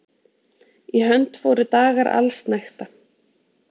Í hönd fóru dagar allsnægta.